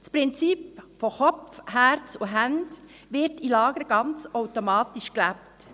Das Prinzip von Kopf, Herz und Händen wird in Lagern ganz automatisch gelebt.